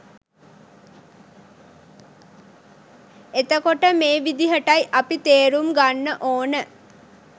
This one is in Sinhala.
එතකොට මේ විදිහටයි අපි තේරුම් ගන්න ඕන